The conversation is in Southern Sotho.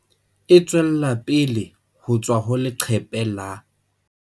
Distributed by - Printed by - E tswella pele ho tswa ho leqephe la